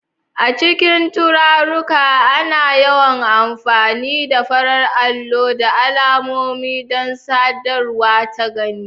A cikin tarurruka, ana yawan amfani da farar allo da alamomi don sadarwa ta gani.